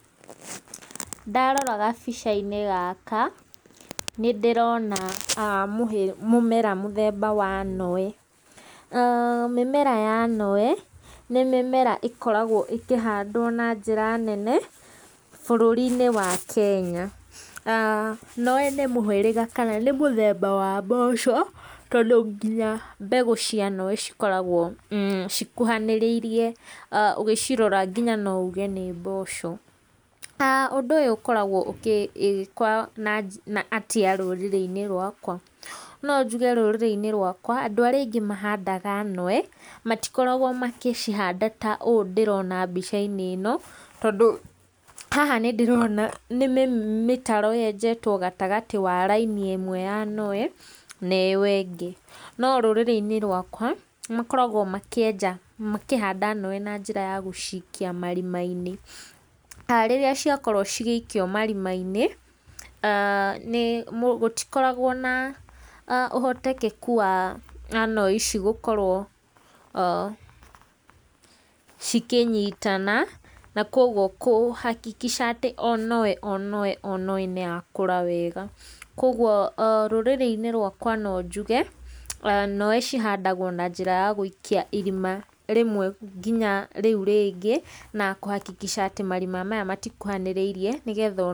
Ndarora gabica-inĩ gaka, nĩndĩrona mũmera mũthemba wa noe, mĩmera ya noe nĩ mĩmera ĩkoragwo ĩkĩhandwo na njĩra nene bũrũri-inĩ wa Kenya. Noe nĩ mũhĩrĩga kana nĩ mũthemba wa mboco, tondũ nginya mbegũ cia noe cikoragwo cikuhanĩrĩirie ũgĩcirora nginya no uge nĩ mboco, ũndũ ũyũ ũkoragwo ũgĩkwo na atĩa rũrĩrĩ-inĩ rwakwa? No njuge rũrĩrĩ-inĩ rwakwa, andũ arĩa aingĩ mahandaga noe, matikoragwo magĩcihanda ta ũũ ndĩrona mbica-inĩ ĩno, tondũ haha nĩ ndĩrona nĩ mĩtaro yenjetwo gatagatĩ ka raini ĩmwe ya noe neyo ĩngĩ, no rũrĩrĩ-inĩ rwakwa, makoragwo makĩenja makĩhanda noe na njĩra ya gũcikia marima-inĩ, rĩrĩa ciakorwo cigĩikio marima-inĩ nĩ gũtikoragwo na ũhotekeku wa noe ici gũkorwo cikĩnyitana, na koguo kũhakikica atĩ o noe o noe nĩ yakũra wega koguo rũrĩrĩ-inĩ rwakwa no njuge, noe cihandagwo na njĩra ya gũikia irima rĩmwe nginya rĩu rĩngĩ, na kũhakikica atĩ marima maya matikuhanĩrĩirie nĩ getha.